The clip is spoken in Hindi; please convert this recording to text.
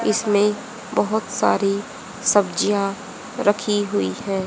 इसमें बहुत सारी सब्जियां रखी हुई हैं।